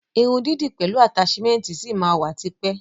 Irun dídì pẹlu ataṣimẹnti ṣi ma wa tipẹ́.